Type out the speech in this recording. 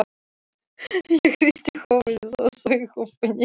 Ég hristi höfuðið og saug upp í nefið.